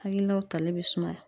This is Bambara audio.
Hakilinaw tali be sumaya.